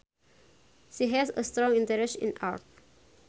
She has a strong interest in art